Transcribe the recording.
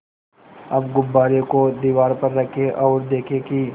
अब गुब्बारे को दीवार पर रखें ओर देखें कि